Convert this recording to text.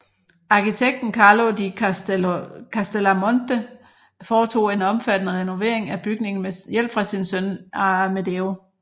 Arkitekten Carlo di Castellamonte foretog en omfattende renovering af bygningen med hjælp fra sin søn Amedeo